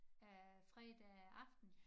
Øh fredag aften?